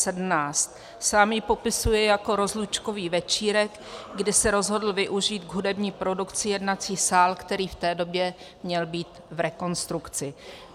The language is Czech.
Sám ji popisuje jako rozlučkový večírek, kdy se rozhodl využít k hudební produkci jednací sál, který v té době měl být v rekonstrukci.